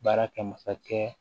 Baara kɛ masakɛ